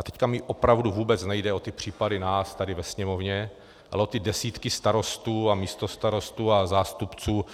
A teď mi opravdu vůbec nejde o ty případy nás tady ve Sněmovně, ale o ty desítky starostů a místostarostů a zástupců